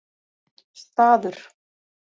Staður